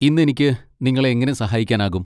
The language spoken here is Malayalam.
ഇന്ന് എനിക്ക് നിങ്ങളെ എങ്ങനെ സഹായിക്കാനാകും?